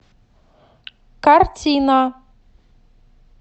картина